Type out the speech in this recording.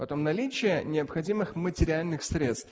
потом наличие необходимых материальных средств